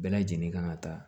Bɛɛ lajɛlen kan ka taa